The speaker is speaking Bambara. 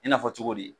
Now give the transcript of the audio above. I n'a fɔ cogo di